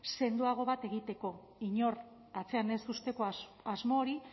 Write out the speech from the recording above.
sendoago bat egiteko inor atzean ez uzteko asmo hori